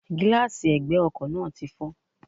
Gíláàsi ègbè ọkò náà ti fó